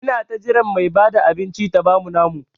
Ina ta jiran Mai Bada abinci ta bamu namu.